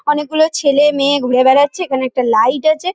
অনেক গুলো ছেলে মেয়ে ঘুরে বেড়াচ্ছে। এখানে একটা লাইট আছে।